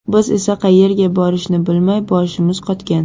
Biz esa qayerga borishni bilmay, boshimiz qotgan.